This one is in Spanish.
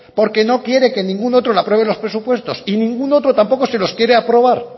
porque no quiere que ningún otro le apruebe los presupuestos y ningún otro tampoco se los quiere aprobar